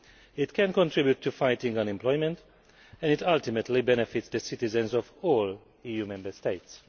it can contribute to fighting unemployment, and it ultimately benefits the citizens of all Member States.